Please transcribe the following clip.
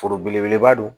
Foro belebeleba don